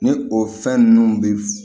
Ni o fɛn ninnu bɛ